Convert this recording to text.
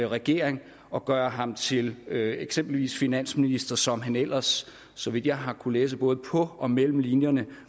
regering og gøre ham til eksempelvis finansminister som han ellers så vidt jeg har kunnet læse både på og mellem linjerne